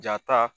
Jaa ta